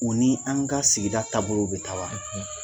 U ni an ka sigida taabolow bɛ taa wa